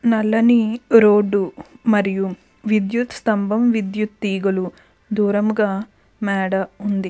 నల్లని రోడ్డు మరియు విద్యుత్ స్తంభమ్ విద్యుత్ తీగలు దూరముగా మేడ ఉంది.